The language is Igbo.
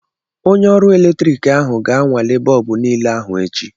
Onye ọrụ eletrik ahụ ga-anwale bọọbụ niile ahụ echi.